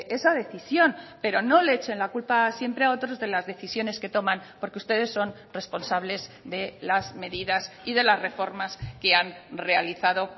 esa decisión pero no le echen la culpa siempre a otros de las decisiones que toman porque ustedes son responsables de las medidas y de las reformas que han realizado